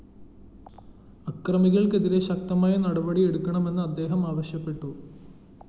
അക്രമികള്‍ക്കെതിരെ ശക്തമായ നടപടിയെടുക്കണമെന്ന് അദ്ദേഹം ആവശശ്യപ്പെട്ടു